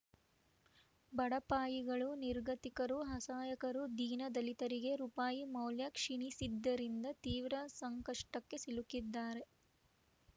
ಬಡಪಾಯಿಗಳು ನಿರ್ಗತಿಕರು ಅಸಹಾಯಕರು ದೀನ ದಲಿತರಿಗೆ ರುಪಾಯಿ ಮೌಲ್ಯ ಕ್ಷೀಣಿಸಿದ್ದರಿಂದ ತೀವ್ರ ಸಂಕಷ್ಟಕ್ಕೆ ಸಿಲುಕಿದ್ದಾರೆ